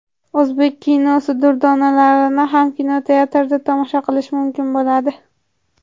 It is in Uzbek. O‘zbek kinosi durdonalarini ham kinoteatrda tomosha qilish mumkin bo‘ladi.